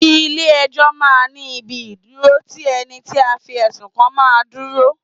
Ilẹ̀ ẹjọ́ máa ń ní ibi ìdúró tí ẹni tí a fi ẹ̀sùn kan máa ń dúró.